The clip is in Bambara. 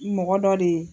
Mɔgɔ dɔ de ye